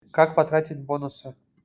как потратить бонусы